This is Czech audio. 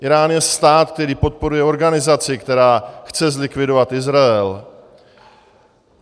Írán je stát, který podporuje organizaci, která chce zlikvidovat Izrael.